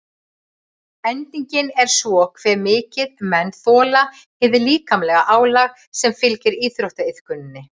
Endingin er svo hve mikið menn þola hið líkamlega álag sem fylgir íþróttaiðkuninni.